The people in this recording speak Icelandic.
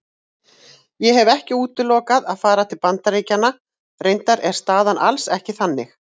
Ég hef ekki útilokað að fara til Bandaríkjanna, reyndar er staðan alls ekki þannig.